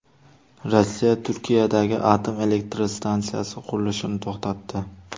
Rossiya Turkiyadagi atom elektr stansiyasi qurilishini to‘xtatdi.